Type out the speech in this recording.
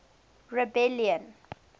rebellion